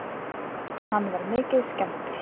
Hann var mikið skemmdur.